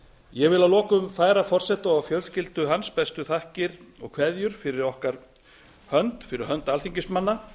ég vil að lokum færa forseta og fjölskyldu hans bestu þakkir og kveðjur fyrir hönd alþingismanna